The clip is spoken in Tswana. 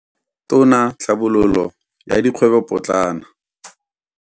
Tona ya Tlhabololo ya Dikgwebopotlana Khumbudzo.